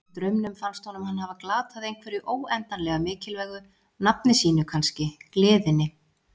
Í draumnum fannst honum hann hafa glatað einhverju óendanlega mikilvægu, nafni sínu kannski, gleðinni.